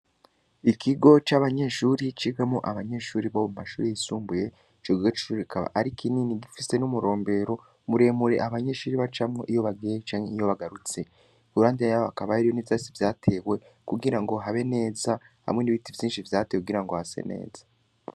Ikigo c’abanyeshuri, cigamwo abanyeshuri bo mu mashure yisumbuye, ico kigo c’ishure kikaba ari kinini, gifise n’umurombero, muremure abanyeshuri bacamwo iyo bagiye canke iyo bagarutse; iruhande y’aho hakaba hariho n’ivyatsi vyinshi vyatewe kugira ngo habe neza, hamwe n’ibiti vyinshi vyatewe kugira ngo hase neza.